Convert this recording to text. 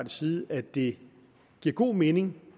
side at det giver god mening